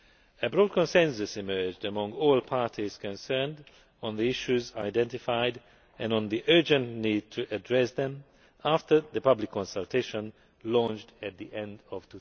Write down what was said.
A broad consensus emerged among all parties concerned on the issues identified and on the urgent need to address them, after the public consultation launched at the end